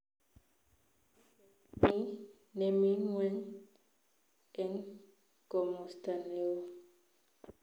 Duket ni nemi ngweny eng komsta neoo